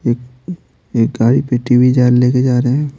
एक एक गाड़ी पे टी_वी जा लेके जा रहे हैं।